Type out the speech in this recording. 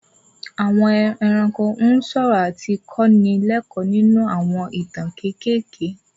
Àwọn ẹranko ń sọ̀rọ̀ àti kọ́ ni lẹ́kọ́ọ̀ nínú àwọn ìtàn kékeré